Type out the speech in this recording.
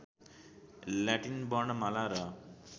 Latin वर्णमाला र